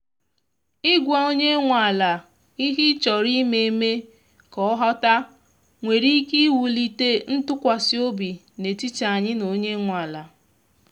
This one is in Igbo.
i gwa onye nwe ala ihe ị chọrọ ime mee ka ọ ghọta nwere ike iwulite ntụkwasị obi n’etiti anyị na onye nwe ala.